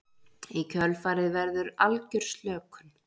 í kjölfarið verður algjör slökun